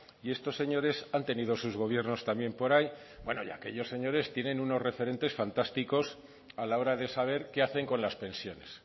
y estos señores han tenido sus gobiernos también por ahí bueno y aquellos señores tienen unos referentes fantásticos a la hora de saber qué hacen con las pensiones